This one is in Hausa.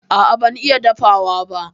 A'a ban iya dafawa ba.